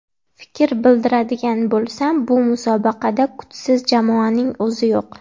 Fikr bildiradigan bo‘lsam, bu musobaqada kuchsiz jamoaning o‘zi yo‘q.